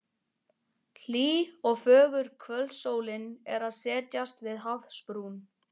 Hlý og fögur kvöldsólin er að setjast við hafsbrún.